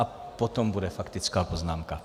A potom bude faktická poznámka.